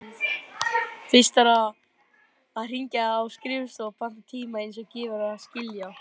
Fyrst þarf að hringja á skrifstofuna og panta tíma, eins og gefur að skilja.